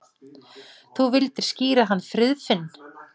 Þú vildir skíra hann Friðfinn.